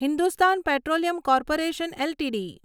Hindustan Petroleum Corporation LTD